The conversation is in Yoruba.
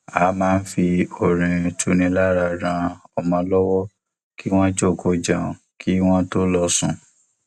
a máa n fi orin tuni lára ran ọmọ lọwọ kí wọn jòkòó jẹun kí wọn tó lọ sùn